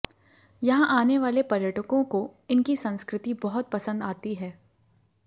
यहां आने वाले पर्यटकों को इनकी संस्कृति बहुत पसंद आती हैं